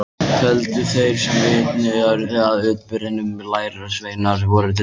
Töldu þeir sem vitni urðu að atburðinum að lærisveinarnir væru drukknir.